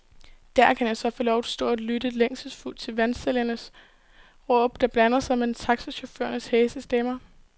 Der kan jeg så få lov at stå og lytte længselsfuldt til vandsælgernes råb, der blander sig med taxachaufførernes hæse stemmer.